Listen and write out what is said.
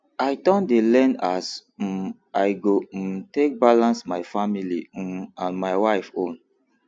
i don dey learn as um i go um take balance my family um and my wife own